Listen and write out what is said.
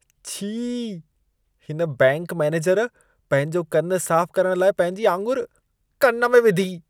छी। हिन bank manager पंहिंजो कन साफ करण लाइ पंहिंजी आङुर कन में विधी।